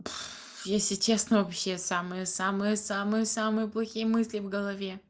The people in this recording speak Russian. если честно вообще самые самые самые самые плохие мысли в голове